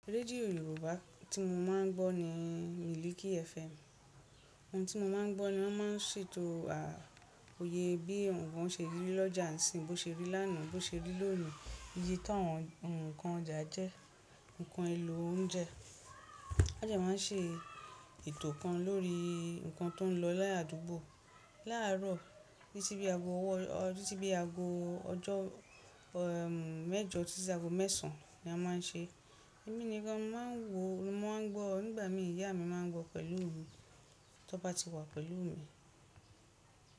Rédíò Yorùbá tí mo máa ń gbọ́ ni Miliki FM. Ohun tí mo máa ń gbọ́ ni wọ́n máa ń ṣètò àh, òye bí ǹnkan ṣe rí l'ọ́jà nisìnyi, bó ṣe rí lánàá, bó ṣe rí lónìí. Iye táwọn ǹnkan ọjà jẹ́, nǹkan elò oúnjẹ. Won dẹ́ máa ń ṣe ètò kan lórí ǹnkan tó ń lọ láadúgbò. Láàárọ̀, títí bí i ago ọwọ́ titi bi i ago ojo, emm mẹ́jọ, títí di ago mẹ́sàn án ni won máa ń ṣe. Orin yen gan, mo maa n wo, mo maa n gbo. Nígbà mi, iya mi maa n gbo pẹ̀lú mi ton ba ti wa pẹ̀lú mi.